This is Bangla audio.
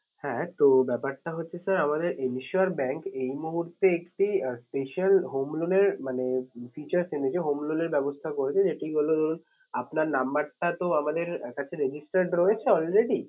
হ্যাঁ তো ব্যাপারটা হচ্ছে sir আমাদের insure bank এই মুহূর্তে একটি আহ special home loan এর মানে features এনেছে home loan এর ব্যবস্থা করেছে ধরুন আপনার number টা তো আমাদের কাছে register রয়েছে already